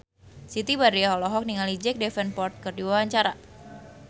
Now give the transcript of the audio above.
Siti Badriah olohok ningali Jack Davenport keur diwawancara